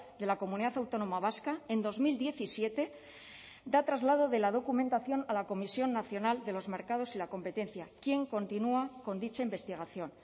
de la comunidad autónoma vasca en dos mil diecisiete da traslado de la documentación a la comisión nacional de los mercados y la competencia quien continúa con dicha investigación